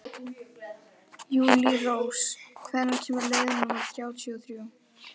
Júlírós, hvenær kemur leið númer þrjátíu og þrjú?